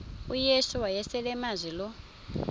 uyesu wayeselemazi lo